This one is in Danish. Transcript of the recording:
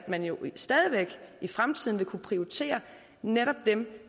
man stadig væk i fremtiden vil kunne prioritere netop dem